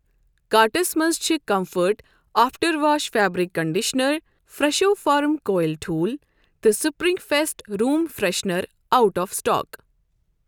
Carts مَنٛز چھِ comfort after wash fabric conditioner, Fresho farm quail ٹھوٗل تہٕ spring fest room freshener out of stock.